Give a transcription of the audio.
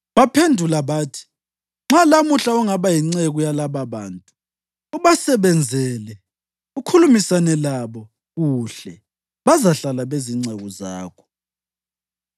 Baphendula bathi, “Nxa lamuhla ungaba yinceku yalababantu, ubasebenzele, ukhulumisane labo kuhle, bazahlala bezinceku zakho.”